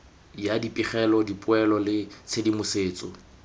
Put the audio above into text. ya dipegelo dipoelo le tshedimosetso